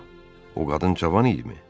O qadın cavan idimi?